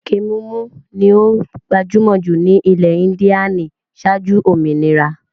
Ẹkẹ mímù ni ó gbajúmọ̀ jù ní ilẹ̀ Índíànì ṣáájú òmìnira.